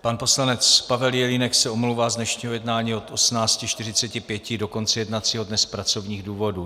Pan poslanec Pavel Jelínek se omlouvá z dnešního jednání od 18.45 do konce jednacího dne z pracovních důvodů.